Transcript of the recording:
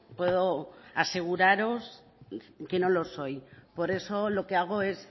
puedo aseguraros que no lo soy por eso lo que hago es